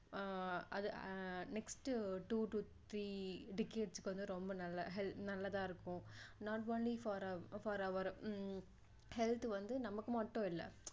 ஆஹ் அது ah next two to three decades க்கு வந்து ரொம்ப நல்ல ரொம்ப நல்லதா இருக்கும் not only for our ah health வந்து நமக்கு மட்டும் இல்லை